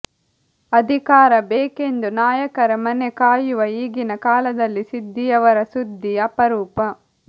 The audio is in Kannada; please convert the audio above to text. ಅಧಿಕಾರ ಬೇಕೆಂದು ನಾಯಕರ ಮನೆ ಕಾಯುವ ಈಗಿನ ಕಾಲದಲ್ಲಿ ಸಿದ್ದಿಯವರ ಸುದ್ದಿ ಅಪರೂಪ